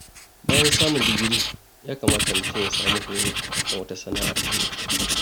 Bayan samun digiri, ya kamata mutum ya samu horo a kan wata sana'ar hannu.